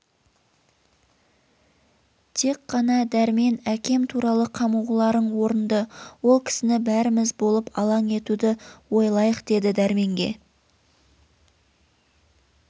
тек қана дәрмен әкем туралы қамығуларың орынды ол кісіні бәріміз болып алаң етуді ойлайық деді дәрменге